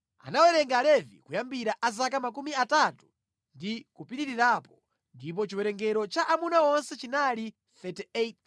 Anawerenga Alevi kuyambira a zaka makumi atatu ndi kupitirirapo, ndipo chiwerengero cha amuna onse chinali 38,000.